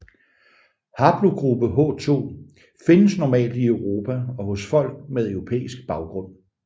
Haplogruppe H2 findes normalt i Europa og hos folk med europæisk baggrund